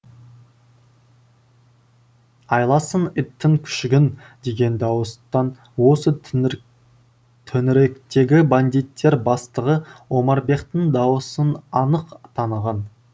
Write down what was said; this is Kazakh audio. айласын иттің күшігін деген дауыстан осы төңіректегі бандиттер бастығы омарбеқтің дауысын анық таныған